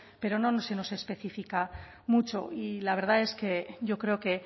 pero no se nos específica mucho y la verdad es que yo creo que